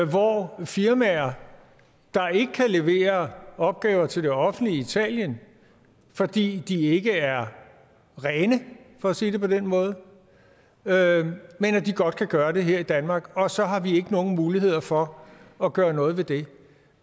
hvor firmaer ikke kan levere opgaver til det offentlige italien fordi de ikke er rene for at sige det på den måde men at de godt kan gøre det her i danmark og så har vi ikke nogen muligheder for at gøre noget ved det